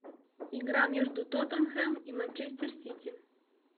игра между тоттенхэм и манчестер сити